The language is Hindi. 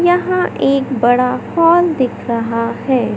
यहाँ एक बड़ा हॉल दिख रहा हैं।